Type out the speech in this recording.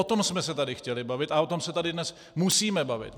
O tom jsme se tady chtěli bavit a o tom se tady dnes musíme bavit.